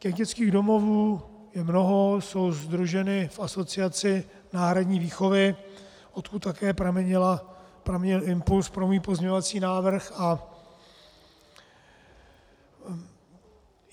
Těch dětských domovů je mnoho, jsou sdruženy v Asociaci náhradní výchovy, odkud také pramenil impuls pro můj pozměňovací návrh.